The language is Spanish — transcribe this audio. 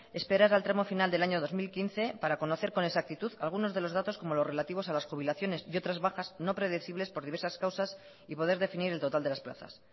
esperar al tramo final del año dos mil quince para conocer con exactitud algunos de los datos como los relativos a las jubilaciones y otras bajas no predecibles por diversas causas y poder definir el total de las plazas